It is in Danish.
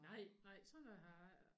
Nej nej sådan noget har jeg ikke